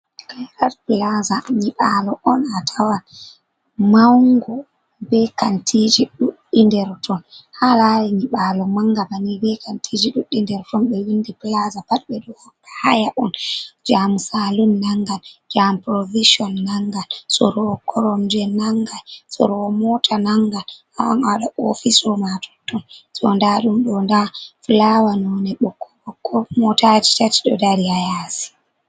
Caiar plaza nyibalo on a tawa maunugo be kantiji duddi derton ,ha lali nibalo manga bani be kantiji duddinderton be windi plaza pat be do hokka haya on jamu salum nangan jam provision nangan soro kromje nanga sorowo mota nangan aan ada ofiso ma totton jondadum do nda flawa none boko boo motaji tati do dali ayasi.